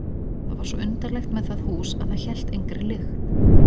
Og það var svo undarlegt með það hús að það hélt engri lykt.